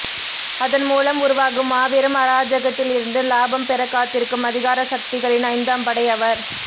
அதன் மூலம் உருவாகும் மாபெரும் அராஜகத்தில் இருந்து லாபம்பெற காத்திருக்கும் அதிகார சக்திகளின் ஐந்தாம்படை அவர்